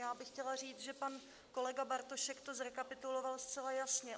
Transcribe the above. Já bych chtěla říct, že pan kolega Bartošek to zrekapituloval zcela jasně.